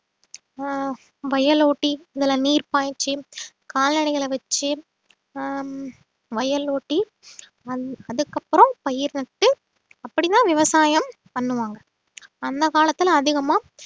அஹ் வயல் ஓட்டி இதுல நீர் பாய்ச்சி கால்நடைகளை வச்சு ஆஹ் வயல் ஓட்டி வந்~அதுக்கப்புறம் பயிர் நட்டு அப்படிதான் விவசாயம் பண்ணுவாங்க அந்த காலத்துல அதிகமா